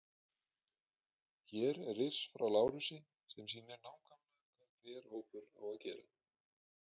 Hér er riss frá Lárusi sem sýnir nákvæmlega hvað hver hópur á að gera.